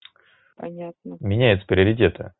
понятно меняется приоритеты